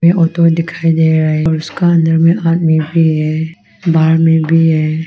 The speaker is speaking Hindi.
ये ऑटो दिखाई दे रहा है और उसका अंदर में आदमी भी है बाहर में भी है।